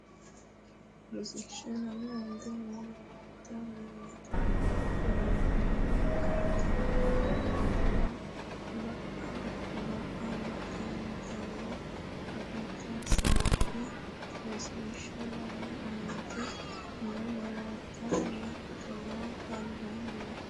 Rosiishsha Lame Aante noo malaatta mimmito labbanno akattanna mimmituwiinni bab- baxxitanno akatta hasaabbe Rosiishsha Lame Aante noo malaatta mimmito labbanno.